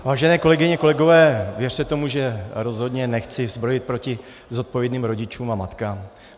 Vážené kolegyně, kolegové, věřte tomu, že rozhodně nechci zbrojit proti zodpovědným rodičům a matkám.